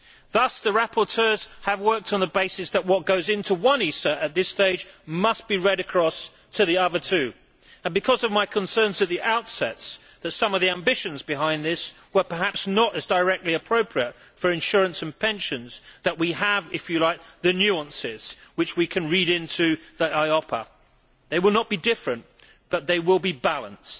Thus, the rapporteurs have worked on the basis that what goes into one ISA at this stage must be read across to the other two, and it is because of my concerns at the outset that some of the ambitions behind this were perhaps not as directly appropriate for insurance and pensions that we have if you like the nuances which we can read into the EIOPA. They will not be different but they will be balanced.